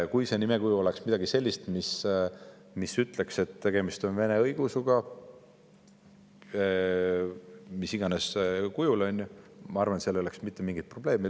Kui see nimekuju oleks midagi sellist, mis ütleks, et tegemist on vene õigeusuga mis iganes kujul, siis ma arvan, et seal ei oleks mitte mingit probleemi.